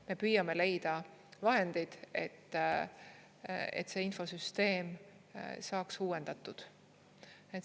Me püüame leida vahendeid, et see infosüsteem saaks uuendatud.